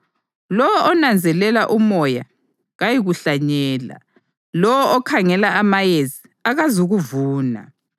Lowo onanzelela umoya kayikuhlanyela; lowo okhangela amayezi akazukuvuna.